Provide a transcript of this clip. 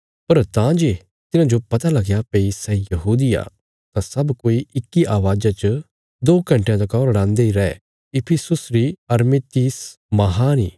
पर तां जे तिन्हांजो पता लगया भई सै यहूदी आ तां सब कोई इक्की अवाज़ा च दो घण्टयां तका रड़ांदे इ रै इफिसुस री अरतिमिस महान इ